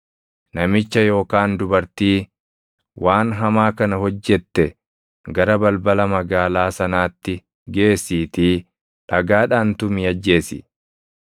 namicha yookaan dubartii waan hamaa kana hojjette gara balbala magaalaa sanaatti geessiitii dhagaadhaan tumii ajjeesi.